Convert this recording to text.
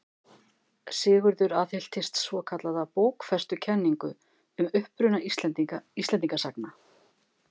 Sigurður aðhylltist svokallaða bókfestukenningu um uppruna Íslendinga sagna.